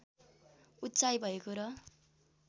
उचाइ भएको र